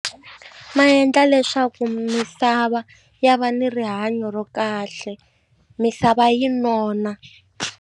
Ma endla leswaku misava ya va ni rihanyo ro kahle misava yi nona.